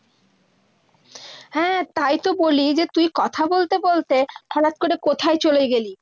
হ্যাঁ, তাই তো বলি, এই যে তুই কথা বলতে বলতে হঠাৎ করে কোথায় চলে গেলি?